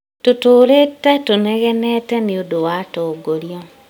Tũtũrĩĩte tũnegenete nĩũndu wa atongoria